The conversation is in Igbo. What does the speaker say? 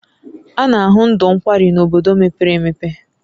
A na ahụ ndụ nkwari n'bodo mepere emepe